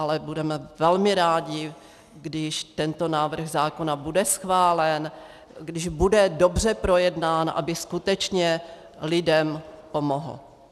Ale budeme velmi rádi, když tento návrh zákona bude schválen, když bude dobře projednán, aby skutečně lidem pomohl.